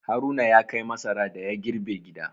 Haruna ya kai masara da ya girbe gida.